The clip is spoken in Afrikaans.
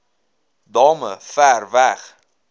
damme ver weg